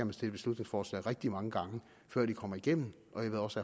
beslutningsforslag rigtig mange gange før de kommer igennem og jeg ved også